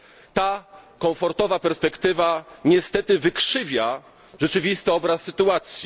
Ta komfortowa perspektywa niestety wykrzywia rzeczywisty obraz sytuacji.